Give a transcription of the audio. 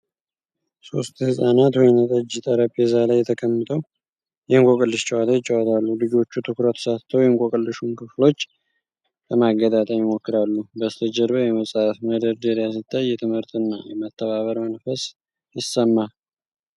ሶስት ህጻናት ወይንጠጅ ጠረጴዛ ላይ ተቀምጠው የእንቆቅልሽ ጨዋታ ይጫወታሉ። ልጆቹ ትኩረት ሰጥተው የእንቆቅልሹን ክፍሎች ለማገጣጠም ይሞክራሉ። በስተጀርባ የመጽሐፍ መደርደሪያ ሲታይ፣ የትምህርትና የመተባበር መንፈስ ይሰማል።